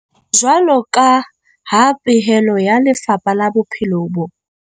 Jwalo ka ha pehelo ya Lefapha la Bophelo bo.